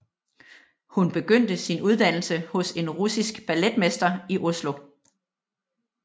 Hun begyndte sin uddannelse hos en russisk balletmester i Oslo